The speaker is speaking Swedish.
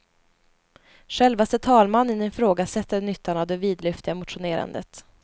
Självaste talmannen ifrågasätter nyttan av det vidlyftiga motionerandet.